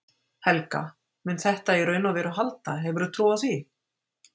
Helga: Mun þetta í raun og veru halda, hefurðu trú á því?